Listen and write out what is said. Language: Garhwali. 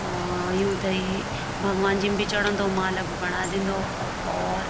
और युथेई भगवन जी म भी चड़ोदों माला भी बणा दीन्दो और --